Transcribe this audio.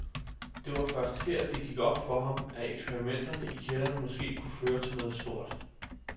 Det var først her, det gik op for ham, at eksperimenterne i kælderen måske kunne føre til noget stort.